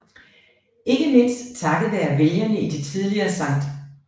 Ikke mindst takket være vælgerne i det tidligere Sct